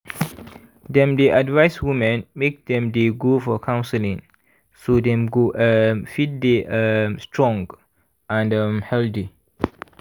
dem dey advise women make dem dey go for counseling so dem go um fit dey um strong and um healthy